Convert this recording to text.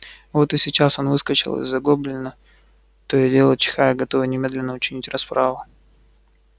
вот и сейчас он выскочил из-за гоблина то и дело чихая готовый немедленно учинить расправу